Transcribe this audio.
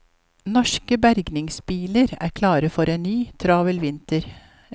Norske bergingsbiler er klare for en ny travel vinter.